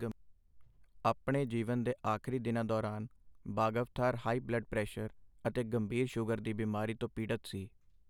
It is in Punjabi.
ਆਪਣੇ ਜੀਵਨ ਦੇ ਆਖਰੀ ਦਿਨਾਂ ਦੌਰਾਨ, ਬਾਗਾਵਥਾਰ ਹਾਈ ਬਲੱਡ ਪ੍ਰੈਸ਼ਰ ਅਤੇ ਗੰਭੀਰ ਸ਼ੂਗਰ ਦੀ ਬਿਮਾਰੀ ਤੋਂ ਪੀੜਤ ਸੀ।